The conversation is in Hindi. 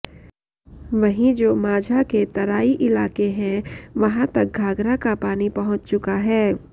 वहीं जो माझा के तराई इलाके हैं वहां तक घाघरा का पानी पहुंच चुका है